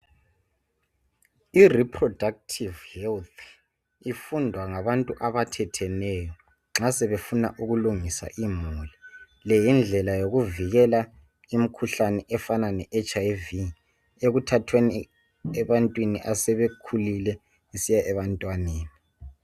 I reproductive health ifundwa ngabantu abathetheneyo nxa sebefuna ukulungisa imuli le yindlela yokuvikela imikhuhlane efana le HIV ekuthathweni ebantwini sebekhulile kusiya ebantwaneni.